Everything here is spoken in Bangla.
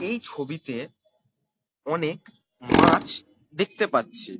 এই ছবিতে অনেক মাছ দেখতে পাচ্ছি।